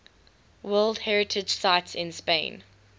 world heritage sites in spain